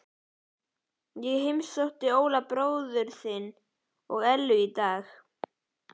Ég heimsótti Óla bróður þinn og Ellu í dag.